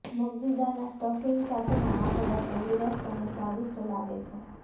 મગની દાળના સ્ટફિંગ સાથેના આ મોદક તંદુરસ્ત અને સ્વાદિષ્ટ લાગે છે